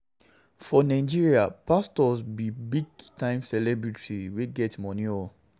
For Nigeria, pastors be big time celebrities wey get money oo